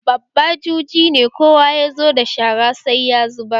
Babba juje ne, kowa yazo da shara sai ya zubar